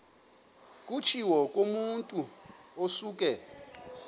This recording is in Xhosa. kutshiwo kumotu osuke